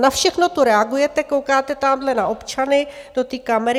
Na všechno tu reagujete, koukáte tamhle na občany do té kamery.